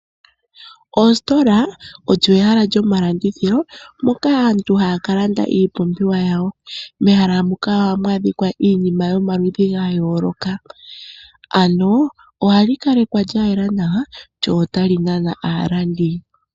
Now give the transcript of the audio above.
Oositola olyo ehala lyomalandithilo moka aantu haya ka landa iipumbiwa yawo. Mehala muka ohamu adhika iinima yomaludhi ga yooloka. Ohali kalekwa lya yela nawa lyo otali nana aalandi.